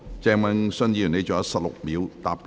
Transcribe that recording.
鄭泳舜議員，你還有16秒答辯。